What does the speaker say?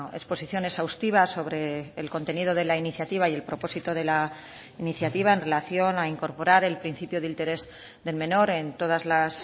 exposición exhaustiva sobre el contenido de la iniciativa y el propósito de la iniciativa en relación a incorporar el principio de interés del menor en todas las